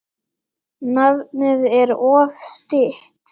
Nafnið er oft stytt.